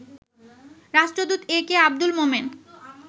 রাষ্ট্রদূত A K Abdul Momen